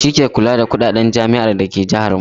Shi ke kula da kuɗaɗen jami'ar da ke jahar mu.